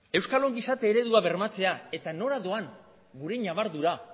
euskal gizarte eredua bermatzea eta nola doan gure ñabardura